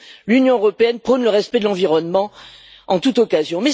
l'Union européenne prône le respect de l'environnement en toute occasion.